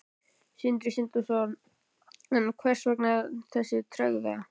Sindri Sindrason: En hvers vegna þessi tregða?